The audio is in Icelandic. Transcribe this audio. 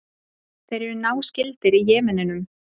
Þeir eru náskyldir Jemenum.